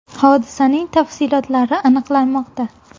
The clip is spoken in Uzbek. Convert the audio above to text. Hodisaning tafsilotlari aniqlanmoqda.